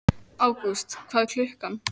Ágúst, hvað er klukkan?